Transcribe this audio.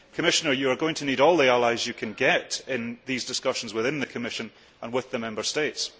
Commissioner, you are going to need all the allies you can get in these discussions within the Commission and with the Member States.